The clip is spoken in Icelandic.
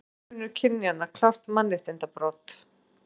Launamunur kynjanna klárt mannréttindabrot